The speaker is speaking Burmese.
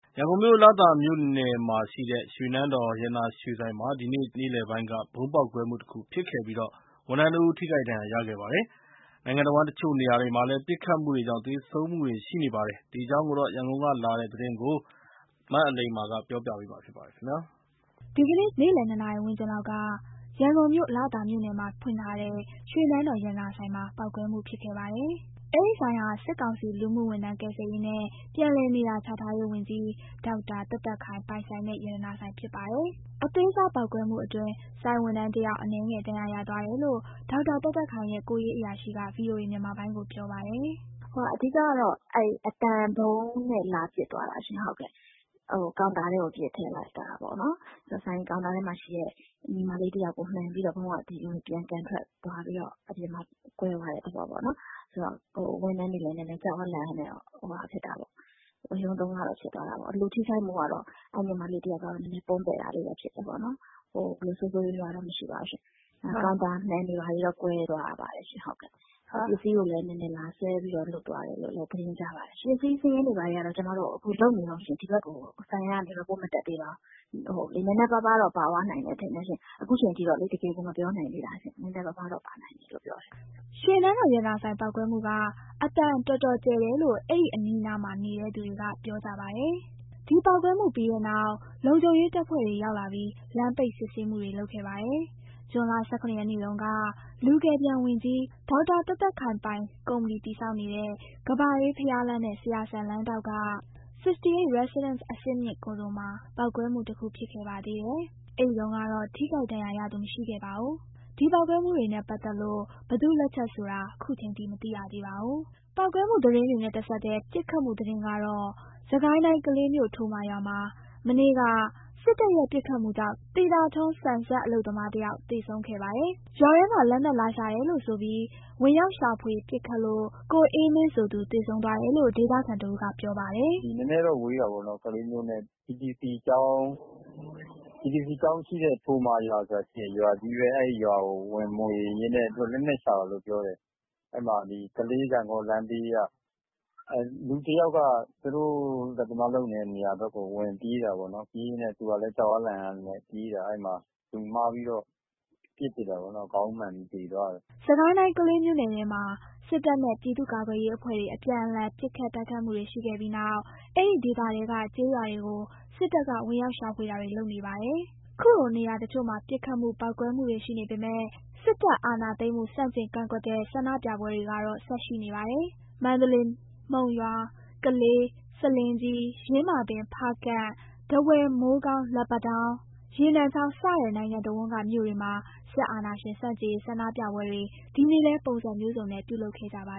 ရန်ကုန်မြို့၊ လသာမြို့နယ်မှာရှိတဲ့ ရွှေနန်းတော်ရတနာရွှေဆိုင်မှာ ဒီနေ့ ဇူလိုင်လ ၈ ရက် နေ့လည်ပိုင်းက ဗုံးပေါက်ကွဲမှုတခုဖြစ်ခဲ့ပြီး ဝန်ထမ်းတဦး ထိခိုက်ဒဏ်ရာရခဲ့ပါတယ်။ နိုင်ငံတဝန်း တချို့နေရာတွေမှာလည်း ပစ်ခတ်မှုတွေကြောင့် သေဆုံးမှုတွေ ရှိနေပါတယ်။ ဒီအကြောင်း ရန်ကုန်ကလာတဲ့သတင်းကို အလိမ္မာက ပြောပြပါမယ်။ ဒီကနေ့ ဇူလိုင်လ ၈ ရက် နေ့လည် နှစ်နာရီဝန်းကျင်လောက်က ရန်ကုန်မြို့ လသာမြို့နယ်မှာဖွင့်ထားတဲ့ ရွှေနန်းတော် ရတနာဆိုင်မှာ ပေါက်ကွဲမှုဖြစ်ခဲ့ပါတယ်။ အဲဒီဆိုင်ဟာ စစ်ကောင်စီ လူမှုဝန်ထမ်း ကယ်ဆယ်ရေးနဲ့ ပြန်လည်နေရာချထားရေးဝန်ကြီး ဒေါက်တာသက်သက်ခိုင် ပိုင်ဆိုင်တဲ့ ရတနာဆိုင်ဖြစ်ပါတယ်။ အသေးစားပေါက်ကွဲမှုအတွင်း ဆိုင်ဝန်ထမ်းတယောက် အနည်းငယ် ဒဏ်ရာရသွားတယ်လို့ ဒေါက်တာသက်သက်ခိုင်ရဲ့ ကိုယ်ရေးအရာရှိက ဗွီအိုအေ မြန်မာပိုင်းကို ပြောပါတယ်။ “အဓိကကတော့ အသံဗုံးနဲ့ လာပစ်သွားတာရှင့်။ ကောင်တာထဲကို ပစ်ထည့်လိုက်တာပေါ့နော်၊ ကောင်တာထဲမှာရှိတဲ့ ညီမလေးတယောက်ကို မှန်ပြီးတော့ ဗုံးက ပြန်ကန်ထွက်ပြီးတော့ ကွဲသွားတဲ့ သဘောပေါ့နော်။ ဖြစ်တော့ ဝန်ထမ်းတွေကလည်း ကြောက်အားလန့်အားနဲ့ နည်းနည်း ဝရုန်းသုန်းကားတော့ ဖြစ်သွားတာပေါ့။ လူထိခိုက်မှုကတော့ အဲ့ညီမလေးကတော့ နည်းနည်း ပွန်းပဲ့တာလေးတော့ ဖြစ်တယ်ပေါ့နှော်။ ဆိုးဆိုးရွားရွားတော့ မရှိပါဘူးရှင့်။ ကောင်တာမှန်တွေ ဘာတွေတော့ ကွဲသွားပါတယ်ရှင့်။ ပစ္စည်းကိုလည်း နည်းနည်း လာဆွဲသွားတယ်လို့လည်း သတင်းကြားပါတယ်ရှင့်။ ပစ္စည်းစာရင်းတွေကတော့ ကျမတို့လုပ်နေတုန်းရှင့် ဒီဘက်ကို စာရင်းမတက်သေးပါဘူး။ နည်းနည်းပါးပါးတော့ ပါသွားနိုင်တယ်ထင်တယ်ရှင့် ခုအချိန်ထိတော့ တကယ်ကို မပြောနိုင်သေးတာရှင့်။” ရွှေနန်းတော် ရတနာဆိုင် ပေါက်ကွဲမှုက အသံတော်တော်ကျယ်တယ်လို့ အဲ့ဒီအနီးအနားမှာ နေတဲ့သူတွေက ပြောကြပါတယ်။ ဒီပေါက်ကွဲမှု ပြီးတဲ့နောက် လုံခြုံရေးတပ်ဖွဲ့ဝင်တွေ ရောက်လာပြီး လမ်းပိတ် စစ်ဆေးမှုတွေ လုပ်ခဲ့ပါတယ်။ ဇွန်လ ၁၇ ရက်နေ့တုန်းကလည်း လူကယ်ပြန်ဝန်ကြီး ဒေါ်သက်သက်ခိုင်ပိုင်ကုမ္ပဏီ တည်ဆောက်နေတဲ့ ကမ္ဘာအေးဘုရားလမ်းနဲ့ ဆရာစံလမ်းထောင့်က 68 Residence အဆင့်မြင့်ကွန်ဒိုမှာ ပေါက်ကွဲမှုတခု ဖြစ်ခဲ့ပါသေးတယ်။ အဲဒီတုန်းကတော့ ထိခိုက်ဒဏ်ရာရသူ မရှိခဲ့ပါဘူး။ ဒီပေါက်ကွဲမှုတွေနဲ့ပတ်သက်လို့ ဘယ်သူ့လက်ချက်ဆိုတာ ခုချိန်ထိ မသိရသေးပါဘူး။ ပေါက်ကွဲမှုသတင်းတွေနဲ့တဆက်ထဲ ပစ်ခတ်မှုသတင်းတော့ စစ်ကိုင်းတိုင်း ကလေးမြို့ ထိုမာရွာမှာ မနေ့က စစ်တပ်ရဲ့ ပစ်ခတ်မှုကြောင့် သီတာထွန်း ဆန်စက် အလုပ်သမားတယောက် သေဆုံးခဲ့ပါတယ်။ ရွာထဲမှာ လက်နက်လာရှာတယ်လို့ဆိုပြီး ဝင်ရောက်ရှာဖွေ ပစ်ခတ်လို့ ကိုအေးမင်းဆိုသူ သေဆုံးသွားတယ်လို့ ဒေသခံတဦးက ပြောပြပါတယ်။ “ကလေးမြို့နဲ့ နဲနဲတော့ ဝေးတာပေါ့၊ TTC ကျောင်းရှိတဲ့ ထိုမာရွာဆိုတာရှိတယ်၊ ရွာကြီးပဲ။ အဲ့ဒီရွာကို ဝင်မွှေရင်းနဲ့ သူတို့က လက်နက်ရှာတာလို့ ပြောတယ်။ အဲ့မှာ ကလေး ဂန့်ဂေါလမ်းဘေးက၊ အဲ့မှာ လူတယာက်က သူတို့လက်သမားလုပ်နေတဲ့ နေရာနားကို ဝင်ပြေးတာပေါ့နော်၊ သူကလည်း ကြောက်အားလန့်အားနဲ့ ပြေးတာ။ အဲ့မှာ လူမှားပြီး ပစ်ထည့်လိုက်တာ ခေါင်းမှန်ပြီး သေသွားတယ်။” စစ်ကိုင်းတိုင်း ကလေးမြို့နယ်ထဲမှာ စစ်တပ်နဲ့ ပြည်သူ့ကာကွယ်ရေးအဖွဲ့တွေ အပြန်အလှန် ပစ်ခတ် တိုက်ခိုက်မှုတွေရှိခဲ့ပြီးနောက် အဲဒီဒေသထဲက ကျေးရွာတွေကို စစ်တပ်က ဝင်ရောက်ရှာဖွေတာတွေ လုပ်နေတာပါ။ ခုလိုနေရာတချို့မှာ ပစ်ခတ်မှု ပေါက်ကွဲမှုတွေ ရှိနေပေမယ့် စစ်တပ်အာဏာသိမ်းမှု ဆန့်ကျင် ကန့်ကွက်တဲ့ ဆန္ဒပြပွဲတွေကတော့ ဆက်ရှိနေပါတယ်။ မန္တလေး၊ မုံရွာ၊ ကလေး၊ ဆားလင်းကြီး၊ ယင်းမာပင်၊ ဖားကန့်၊ ထားဝယ်၊ မိုးကောင်း၊ လက်ပံတောင်း၊ ရေနံချောင်း စတဲ့ နိုင်ငံတဝန်းက မြို့တွေမှာ စစ်အာဏာရှင် ဆန့်ကျင်ရေး ဆန္ဒပြပွဲတွေ ဒီနေ့လည်း ပုံစံမျိုးစုံနဲ့ ပြုလုပ်ခဲ့ကြပါ